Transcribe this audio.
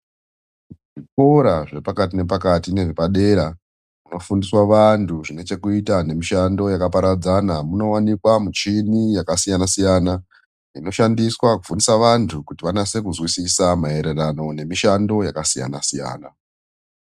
Zvikora zvepakati nepakati nezvepadera zvinofundiswa vantu zvinechekuita nemishando yakaparadzana. Munowanikwa michini yakasiyana-siyana inoshandiswa kufundisa vantu kuti vanase kuzwisisa maererano nemishando yakasiyana-siyana.